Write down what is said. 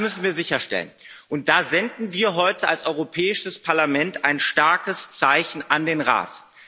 Das müssen wir sicherstellen, und da senden wir heute als Europäisches Parlament ein starkes Zeichen an den Rat.